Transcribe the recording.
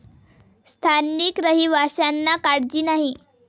स्थानिक रहिवाशांना काळजी नाही.